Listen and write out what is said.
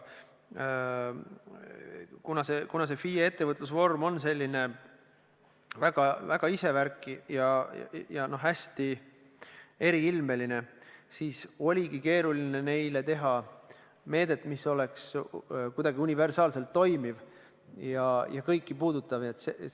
Kuna FIE ettevõtlusvorm on selline väga isevärki ja hästi eriilmeline, siis oligi keeruline teha neile meedet, mis oleks kuidagi universaalselt toimiv ja kõiki puudutav.